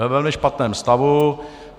Ve velmi špatném stavu.